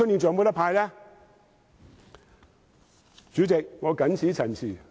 主席，我謹此陳辭。